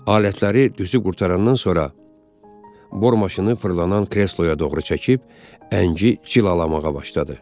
Alətləri düzüb qurtarandan sonra, bor maşını fırlanan kresloya doğru çəkib, əngi cilalamağa başladı.